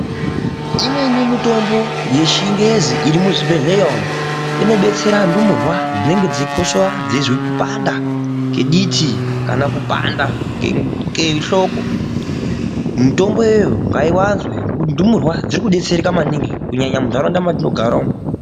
Imweni mutombo yechingezi iri muzvibhehleya umu inobetsera ndumurwa dzinenge dzeikosora dzeizwe kupanda kediti kana kupanda kehloko. Mutombo iyoyo ngaiwanzwe ngokuti ndumurwa dzirikudetsereka maningi kunyanya muntaraunda mwatinogara umwu.